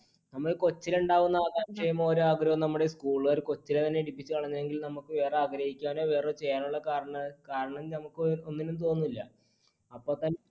നമ്മുടെ കൊച്ചിലെ ഉണ്ടാകുന്ന ആഗ്രഹവും നമ്മുടെ school കാർ കൊച്ചിലെ തന്നെ കളഞ്ഞെങ്കിൽ, നമുക്ക് വേറെ ആഗ്രഹിക്കാനോ, വേറെചെയ്യുവാനുള്ള കാരണം നമുക്ക് ഒന്നിനും തോന്നുന്നില്ല. അപ്പോ തന്നെ